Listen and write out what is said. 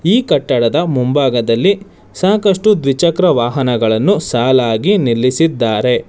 ಈ ಕಟ್ಟಡದ ಮುಂಭಾಗದಲ್ಲಿ ಸಾಕಷ್ಟು ದ್ವಿಚಕ್ರ ವಾಹನಗಳನ್ನು ಸಾಲಾಗಿ ನಿಲ್ಲಿಸಿದ್ದಾರೆ.